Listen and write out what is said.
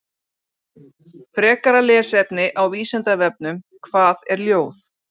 Frekara lesefni á Vísindavefnum: Hvað er ljóð?